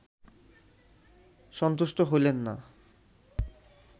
সন্তুষ্ট হইলেন না